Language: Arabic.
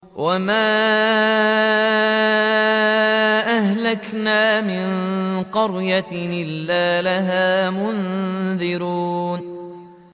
وَمَا أَهْلَكْنَا مِن قَرْيَةٍ إِلَّا لَهَا مُنذِرُونَ